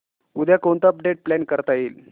उद्या कोणतं update plan करता येईल